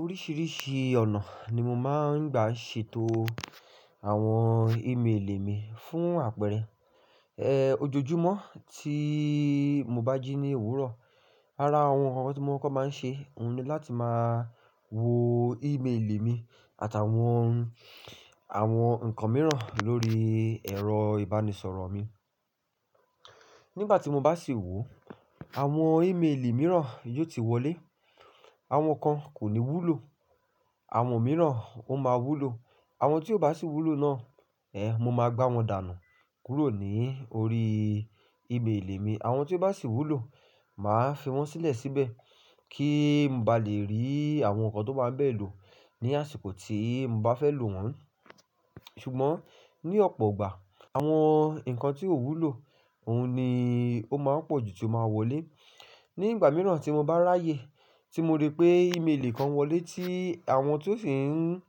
Oríṣiríṣi ọ̀nà ni mo máa ń gbà ṣètò àwọn ímeèlè mi fún àpẹẹrẹ, ẹ́, ojoojúmọ́ tí mo bá jí ní ewúrọ̀, ara àwọn nǹkan tí mo máa ń kọ́ máa ń ṣe òun ni láti máa wo ímeèlè mi àtà wọn, àwọn nǹkan mìíràn lórí ẹ̀rọ ìbánisọ̀rọ̀ mi. Nígbà tí mo bá sì wò ó, àwọn ímeèlè mìíràn yóò ti wọlé, àwọn kan kò ní wúlò, àwọn mìíràn ó máa wúlò. Àwọn tí ó bá sì wúlò náà, ẹ́, mo máa gbá wọn dànù kúrò ní orí ímeèlè mi. Àwọn tí ó bá sì wúlò, màá fi wọ́n sílẹ̀ síbẹ̀ kí mo ba lè rí àwọn nǹkan tó bá ń bẹ̀ lo ní àsìkò tí mo bá fẹ́ lò wọ́n. Ṣùgbọ́n ní ọ̀pọ̀ igbà, àwọn nǹkan tí ò wúlò, òun ni ó máa ń pọ̀jù tí ó máa wọlé. Ní ìgbà mìíràn tí mo bá ráyè tí mo rí pé ímeèlè kan wọlé tí àwọn tó sì ń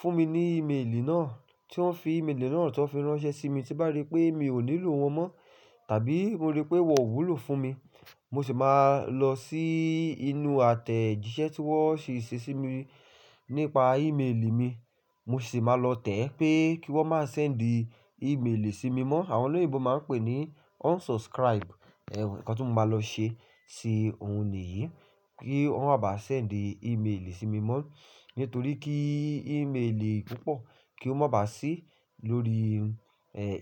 fún mi ní ímeèlè náà, tí wọ́n fi ímeèlè náà tó fi ránṣẹ́ sí mi tí bá rí pé mi ò nílò wọn mọ́ tàbí mo rí pé wọ́n ò wúlò fún mi, mo sì máa lọ sí inú àtẹ̀jíṣẹ́ tí wọ́n sì ṣe sí mi nípa ímeèlè mi, mo sì máa lọ tẹ̀ pé kí wọ́n máa sendí ímeèlè sí mi mọ́. Àwọn olóyinbo máa ń pè é ní unsubscribe, ẹ́, nǹkan tí mo máa lọ ṣe sí nìyí, kí wọ́n mo bá sendí ímeèlè sí mi mọ́ nítorí kí ímeèlè púpọ̀ kí ó máa ba á sí lórí,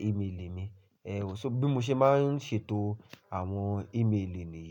ímeèlè mi. Ẹ̀ẹ́, ó ṣo bí mo ṣe máa ń ṣètò àwọn ímeèli niyi.